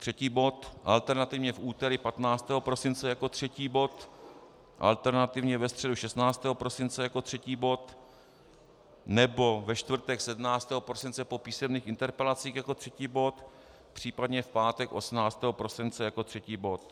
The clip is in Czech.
Třetí bod, alternativně v úterý 15 prosince jako třetí bod, alternativně ve středu 16. prosince jako třetí bod nebo ve čtvrtek 17. prosince po písemných interpelacích jako třetí bod, případně v pátek 18. prosince jako třetí bod.